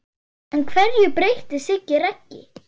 En hverju breytti Siggi Raggi?